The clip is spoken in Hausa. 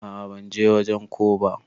A'a ban je wajen ko ba.